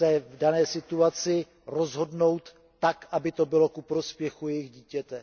v dané situaci rozhodnout tak, aby to bylo ke prospěchu jejich dítěte.